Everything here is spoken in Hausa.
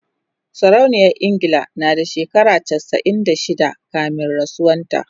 sarauniyar ingila na da shekara chasa'in da shida kamin rasuwan ta